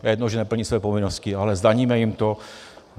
To je jedno, že neplní své povinnosti, ale zdaníme jim to.